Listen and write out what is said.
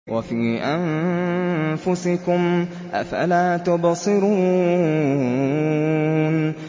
وَفِي أَنفُسِكُمْ ۚ أَفَلَا تُبْصِرُونَ